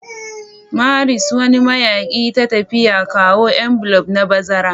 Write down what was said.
Maris, wani mayaƙi ta tafiya, kawo m Bloom na bazara.